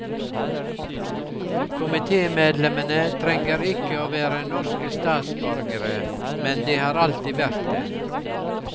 Komitemedlemmene trenger ikke å være norske statsborgere, men de har alltid vært det.